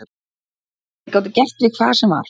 Þeir gátu gert við hvað sem var.